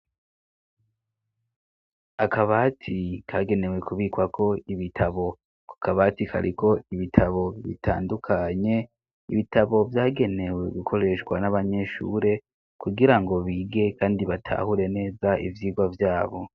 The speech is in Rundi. Akabati kagenewe kubikwako ibitabo ko akabati kariko ibitabo bitandukanye ibitabo vyagenewe gukoreshwa n'abanyeshure kugira ngo bige, kandi batahure neza ivyirwa vyabo.